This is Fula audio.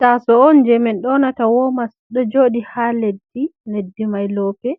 Taso on je min ɗonata womas ɗo joɗi ha leddi, leddi mai loope